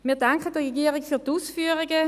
Wir danken der Regierung für die Ausführungen.